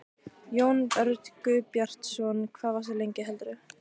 Jón Örn Guðbjartsson: Hvað varstu lengi heldurðu?